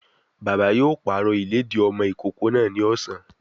Bàbá yóò pàrọ̀ ìlédìí ọmọ ìkókó náà ni ọ̀sán